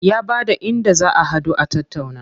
Ya bada inda za a haɗu a tattauna.